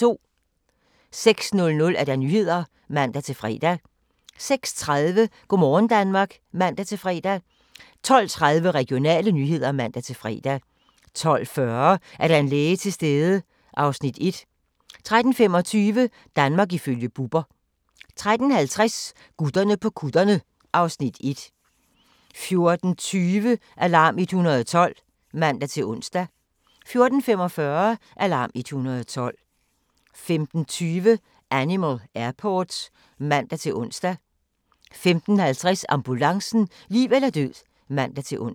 06:00: Nyhederne (man-fre) 06:30: Go' morgen Danmark (man-fre) 12:30: Regionale nyheder (man-fre) 12:40: Er der en læge til stede? (Afs. 1) 13:25: Danmark ifølge Bubber 13:50: Gutterne på kutterne (Afs. 1) 14:20: Alarm 112 (man-ons) 14:45: Alarm 112 15:20: Animal Airport (man-ons) 15:50: Ambulancen - liv eller død (man-ons)